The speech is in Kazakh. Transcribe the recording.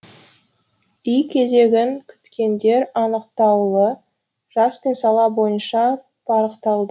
үй кезегін күткендер анықтаулы жас пен сала бойынша парықталды